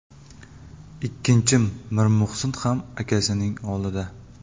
Ikkinchim Mirmuhsin ham akasining oldida.